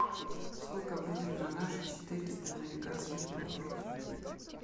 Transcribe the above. сколько будет на наши четыреста американских долларов